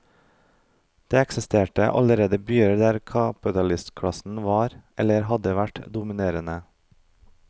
Det eksisterte allerede byer der kapitalistklassen var, eller hadde vært, dominerende.